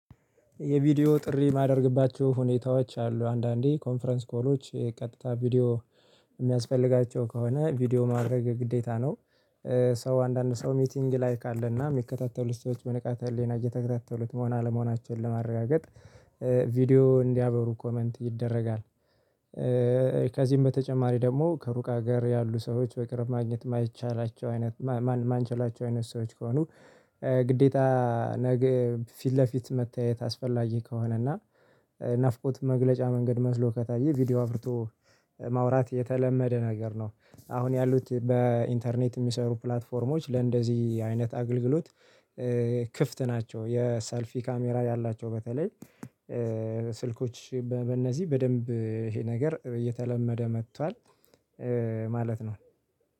የቪዲዮ ጥሪ የማደርግባቸው ሁኔታዎች አሉ አንዳንዴ ኮንፈረንስ ኮሎች ቀጥታ ቪዲዮ የሚያስፈልጋቸው ከሆነ ቪዲዮ ማድረግ ግዴታ ነው። ሰው አንዳንድ ሰው ሚቲንግ ላይክ አለና የሚከታተሉ ስቶች በንቃት ህሊና እየተከታተሉት መሆን አለመሆናችንን ለማረጋገጥ ቪዲዮ እንዲያበሩ ኮመንት ይደረጋል። ከዚህም በተጨማሪ ደግሞ ከሩቅ ሀገር ያሉ ሰዎች በቅርብ ማግኘት የማይቻላቸው አይነት ማንችላቸው አይነት ሰዎች ከሆኑ። ግዴታ ፊት ለፊት መተያየት አስፈላጊ ከሆነ እና ናፍቆት መግለጫ መንገድ መስሎ ከታየ ቪዲዮ አብርቶ ማውራት የተለመደ ነገር ነው። አሁን ያሉት በኢንተርኔት የሚሰሩ ፕላትፎርሞች ለእንደዚህ አይነት አገልግሎት። ክፍት ናቸው የሰልፊ ካሜራ ያላቸው በተለይ ስልኮች በእነዚህ በደንብ ይሄ ነገር እየተለመደ መጥቷል። ማለት ነው።